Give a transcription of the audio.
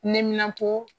Neminanpo